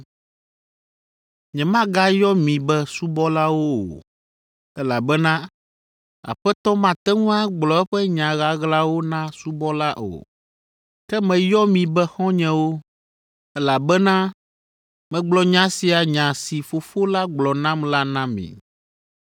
Nyemagayɔ mi be subɔlawo o, elabena aƒetɔ mate ŋu agblɔ eƒe nya ɣaɣlawo na subɔla o. Ke meyɔ mi be xɔ̃nyewo, elabena megblɔ nya sia nya si Fofo la gblɔ nam la na mi.